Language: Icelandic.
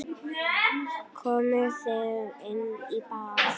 Komið þið inn á bað.